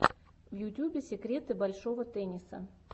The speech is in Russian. в ютюбе секреты большого тенниса